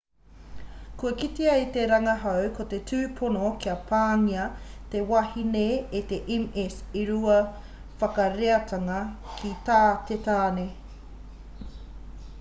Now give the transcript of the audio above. kua kitea e te rangahau ko te tupono kia pāngia te wahine e te ms e rua whakareatanga ki tā te tāne